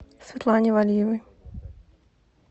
светлане валиевой